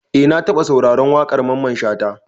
Eh na taba sauraron waƙar Mamman Shata.